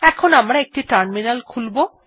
এখন আমারা একটি টার্মিনাল খুলব